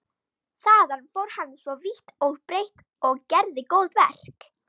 Þaðan fór hann svo vítt og breitt og gerði góðverk.